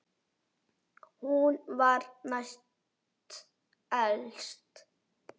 Hún var næst elst.